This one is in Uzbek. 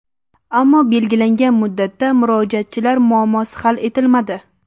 Ammo belgilangan muddatda murojaatchilar muammosi hal etilmadi.